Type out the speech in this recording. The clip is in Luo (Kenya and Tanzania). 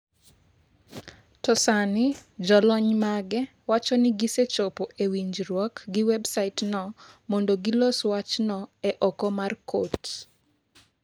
To sani jolony mage wacho ni gisechopo e winjruok gi websaitno mondo gilos wachno e oko mar kot.